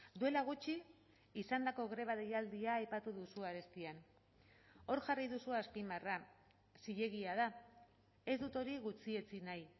duela gutxi izandako greba deialdia aipatu duzu arestian hor jarri duzu azpimarra zilegia da ez dut hori gutxietsi nahi